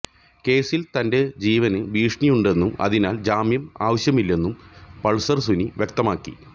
കേസിൽ തന്റെ ജീവന് ഭീഷണിയുണ്ടെന്നും അതിനാൽ ജാമ്യം ആവശ്യമില്ലെന്നും പൾസർ സുനി വ്യക്തമാക്കി